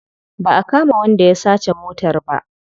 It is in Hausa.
Ba a kama wanda ya sace motar ba.